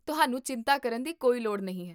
ਤੁਹਾਨੂੰ ਚਿੰਤਾ ਕਰਨ ਦੀ ਕੋਈ ਲੋੜ ਨਹੀਂ ਹੈ